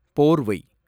போர்வை